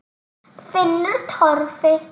Finnur Torfi.